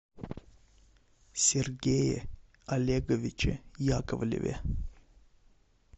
сергее олеговиче яковлеве